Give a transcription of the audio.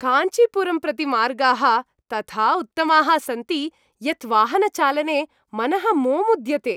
काञ्चीपुरम् प्रति मार्गाः तथा उत्तमाः सन्ति यत् वाहनचालने मनः मोमुद्यते।